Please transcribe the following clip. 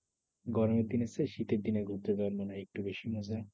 গরমের দিনের চেয়ে শীতের দিনে ঘুরতে যাওয়া মনে হয় একটু বেশি মজা।